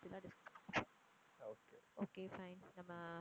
okay fine நம்ம